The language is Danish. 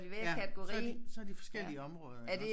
Ja så de så har de forskellige områder iggås